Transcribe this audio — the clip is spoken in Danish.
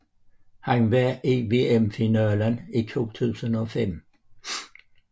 Han var i VM finalen i 2005